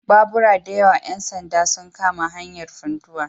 Babura da yawa ‘yan sanda sun kama hanyar Funtua